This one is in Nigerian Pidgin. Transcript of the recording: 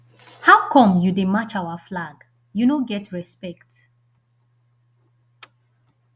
how come you dey match our flag you no get respect